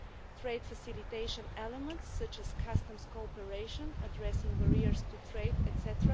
Trade facilitation elements, such as customs cooperation, addressing barriers to trade, etc.,